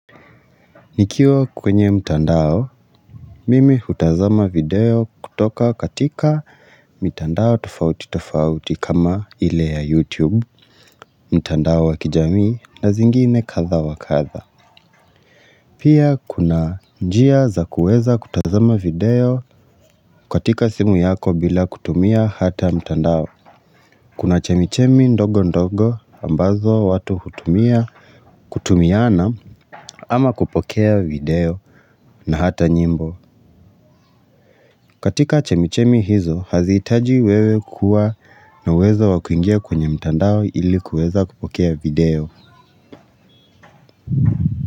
Nikiwa kwenye mtandao, mimi hutazama video kutoka katika mitandao tofauti tofauti kama ile ya YouTube, mtandao wa kijamii na zingine kadha wa kadha Pia kuna njia za kuweza hutazama video katika simu yako bila kutumia hata mtandao. Kuna chemichemi ndogo ndogo ambazo watu hutumia kutumiana ama kupokea video na hata nyimbo. Katika chemichemi hizo, hazihitaji wewe kuwa na uwezo wa kuingia kwenye mtandao ili kuweza kupokea video.